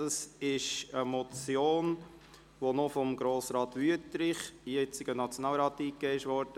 Dies ist eine Motion, die vom damaligen Grossrat und jetzigen Nationalrat Adrian Wüthrich eingereicht wurde.